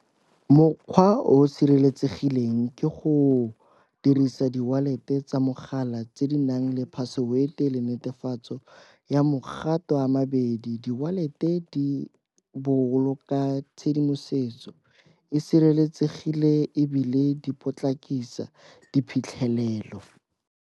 Mokgwa o o sireletsegileng ke go dirisa di-wallet tsa mogala tse di nang le password-e le netefatso ya mo mogato ama bedi. Di-wallet-e di boloka tshedimosetso e sireletsegile ebile di potlakisa diphitlhelelo.